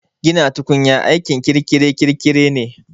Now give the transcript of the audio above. Gina tukunya aikin kirkire-kirkire ne